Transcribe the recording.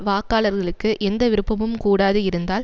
வாக்காளர்களுக்கு எந்த விருப்பமும் கூடாது இருந்தால்